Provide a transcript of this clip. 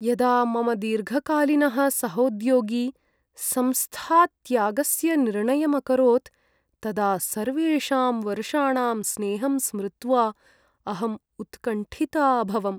यदा मम दीर्घकालीनः सहोद्योगी संस्थात्यागस्य निर्णयम् अकरोत्, तदा सर्वेषां वर्षाणां स्नेहं स्मृत्वा अहं उत्कण्ठिता अभवम्।